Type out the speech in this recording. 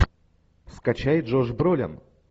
скачай джош бролин